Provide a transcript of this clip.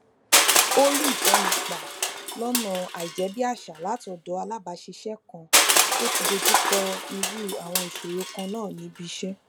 ó rí ìtọni gbà lónà àìjébíàṣà látọdọ alábàáṣiṣé kan tó ti dojú kọ irú àwọn ìṣòro kan náà níbi iṣẹ